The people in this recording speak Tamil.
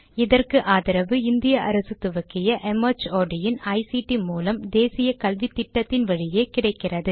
இதற்கு ஆதரவு இந்திய அரசு துவக்கிய ஐசிடி மூலம் தேசிய கல்வித்திட்டத்தின் வழியே கிடைக்கிறது